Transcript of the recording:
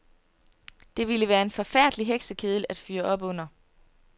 Det ville være en forfærdelig heksekedel at fyre op under.